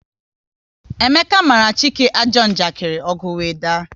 Emeka mara Chike ajọ njakiri, ọgu wee daa